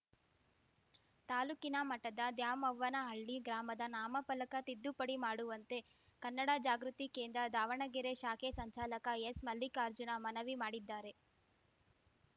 ತಾಲೂಕಿನ ಮಠದ ದ್ಯಾಮವ್ವನಹಳ್ಳಿ ಗ್ರಾಮದ ನಾಮಫಲಕ ತಿದ್ದುಪಡಿ ಮಾಡುವಂತೆ ಕನ್ನಡ ಜಾಗೃತಿ ಕೇಂದ್ರ ದಾವಣಗೆರೆ ಶಾಖೆ ಸಂಚಾಲಕ ಎಸ್‌ ಮಲ್ಲಿಕಾರ್ಜುನ ಮನವಿ ಮಾಡಿದ್ದಾರೆ